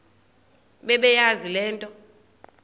bebeyazi le nto